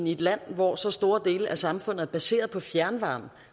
i et land hvor så store dele af samfundet er baseret på fjernvarme